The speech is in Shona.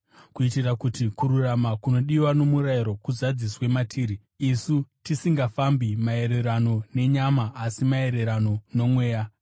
kuitira kuti kururama kunodiwa nomurayiro kuzadziswe matiri, isu tisingafambi maererano nenyama asi maererano noMweya.